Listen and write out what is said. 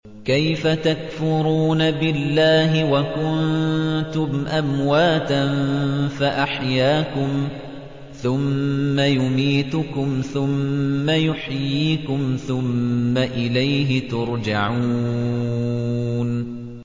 كَيْفَ تَكْفُرُونَ بِاللَّهِ وَكُنتُمْ أَمْوَاتًا فَأَحْيَاكُمْ ۖ ثُمَّ يُمِيتُكُمْ ثُمَّ يُحْيِيكُمْ ثُمَّ إِلَيْهِ تُرْجَعُونَ